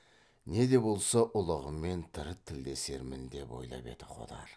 не де болса ұлығымен тірі тілдесермін деп ойлап еді қодар